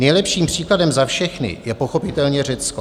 Nejlepším příkladem za všechny je pochopitelně Řecko.